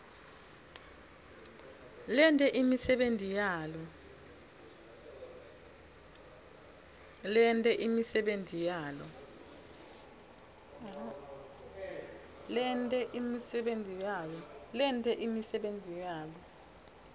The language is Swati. lente imisebenti yalo